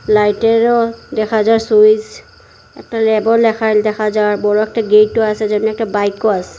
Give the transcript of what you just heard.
লাইটেরও দেখা যার স্যুইচ একটা ল্যাবও লেখান দেখা যার বড় একটা গেটও আসে যেমনি একটা বাইকও আসে।